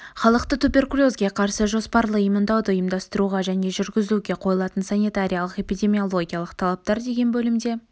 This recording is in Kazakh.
халықты туберкулезге қарсы жоспарлы иммундауды ұйымдастыруға және жүргізуге қойылатын санитариялық-эпидемиологиялық талаптар деген бөлімде